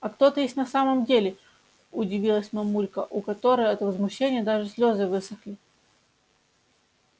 а кто ты есть на самом деле удивилась мамулька у которой от возмущения даже слёзы высохли